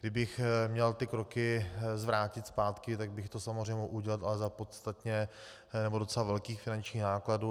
Kdybych měl ty kroky zvrátit zpátky, tak bych to samozřejmě mohl udělat, ale za podstatně nebo docela velkých finančních nákladů.